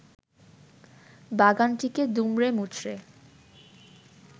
বাগানটিকে দুমড়ে-মুচড়ে